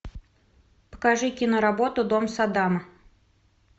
покажи киноработу дом саддама